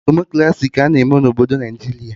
Demokraci ka a na-eme na obodo Naijiria